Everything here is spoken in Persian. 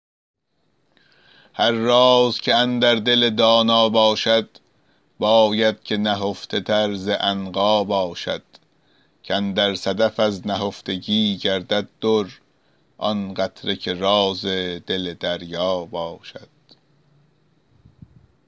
هر راز که اندر دل دانا باشد باید که نهفته تر ز عنقا باشد کاندر صدف از نهفتگی گردد در آن قطره که راز دل دریا باشد